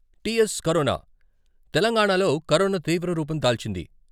T .S corona తెలంగాణాలో corona తీవ్ర రూపం దాల్చింది.